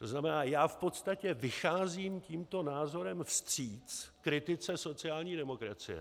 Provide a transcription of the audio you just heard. To znamená, já v podstatě vycházím tímto názorem vstříc kritice sociální demokracie.